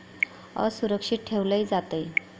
असुरक्षित ठेवलं जातंय.